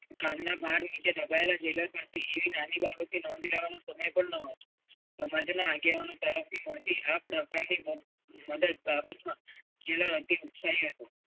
ઘરના ભાર નીચે દબાયેલા જેલર પરથી એવી નાની બાબતની નોંધ કરવાનો સમય પણ નહોતો. પ્રમોદના આગેવાનો તરફથી મળતી આ પ્રકારની બાબતમાં jailer અતિ ઉત્સાહી હતો.